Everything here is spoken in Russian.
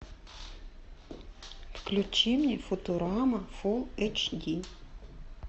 включи мне футурама фул эйч ди